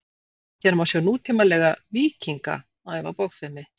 hér má sjá nútímalega „víkinga“ æfa bogfimi